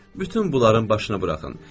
Bütün bunların başını buraxın.